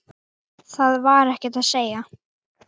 Það var ekkert að segja.